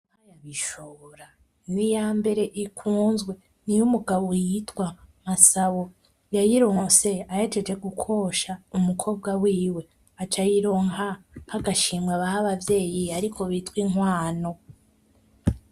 Ishura! N'iyambere ikunzwe, niy'umugabo yitwa MASABO. Yayironse ahejeje gukosha Umukobwa wiwe, aca ayironka nk'agashimwe baha abavyeyi ariko bitwa inkwano.